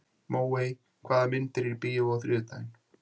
Móey, hvaða myndir eru í bíó á þriðjudaginn?